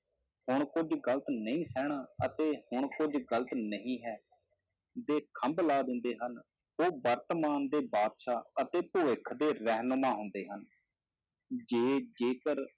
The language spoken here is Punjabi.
ਹੁਣ ਕੁੱਝ ਗ਼ਲਤ ਨਹੀਂ ਸਹਿਣਾ ਅਤੇ ਹੁਣ ਕੁੱਝ ਗ਼ਲਤ ਨਹੀਂ ਹੈ ਦੇ ਖੰਭ ਲਾ ਦਿੰਦੇ ਹਨ, ਉਹ ਵਰਤਮਾਨ ਦੇ ਬਾਦਸ਼ਾਹ ਅਤੇ ਭਵਿਖ ਦੇ ਰਹਿਨੁਮਾ ਹੁੰਦੇ ਹਨ, ਜੇ ਜੇਕਰ